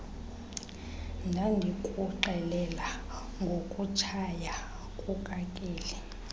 ndandikuxelela ngokutshaya kukakeli